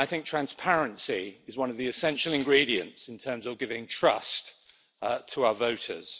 Transparency is one of the essential ingredients in terms of giving trust to our voters.